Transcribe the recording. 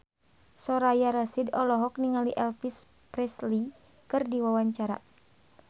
Soraya Rasyid olohok ningali Elvis Presley keur diwawancara